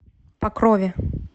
покрове